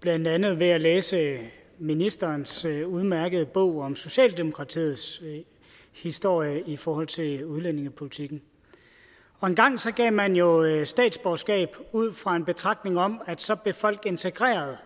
blandt andet ved at læse ministerens udmærkede bog om socialdemokratiets historie i forhold til udlændingepolitikken engang gav man jo statsborgerskab ud fra en betragtning om at så blev folk integreret